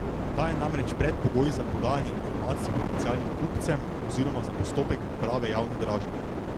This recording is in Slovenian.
Ta je namreč predpogoj za podajanje informacij potencialnim kupcem oziroma za postopek priprave javne dražbe.